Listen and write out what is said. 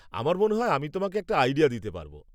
আমার মনে হয় আমি তোমাকে একটা আইডিয়া দিতে পারব।